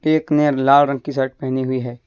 एक ने लाल रंग की सर्ट पहनी हुई है।